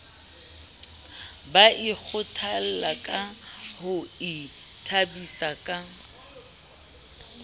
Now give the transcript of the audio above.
ba ikgathollangka ho ithabisa ka